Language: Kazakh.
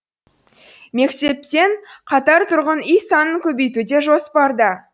мектеппен қатар тұрғын үй санын көбейту де жоспарда